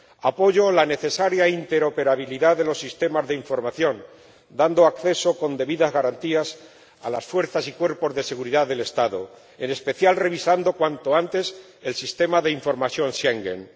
Apoyo la necesaria interoperabilidad de los sistemas de información, dando acceso con debidas garantías a las fuerzas y los cuerpos de seguridad del Estado, en especial, revisando cuanto antes el Sistema de Información Schengen.